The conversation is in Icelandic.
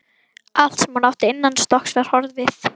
Allt sem hún átti innanstokks var horfið.